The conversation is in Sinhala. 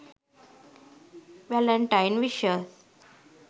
valentine wishes